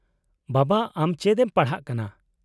-ᱵᱟᱵᱟ, ᱟᱢ ᱪᱮᱫ ᱮᱢ ᱯᱟᱲᱦᱟᱜ ᱠᱟᱱᱟ ?